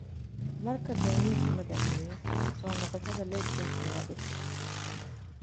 Marka daawaynta la dhammeeyo, soo noqoshada legionka waa dhif.